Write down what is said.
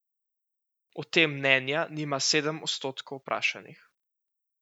O tem mnenja nima sedem odstotkov vprašanih.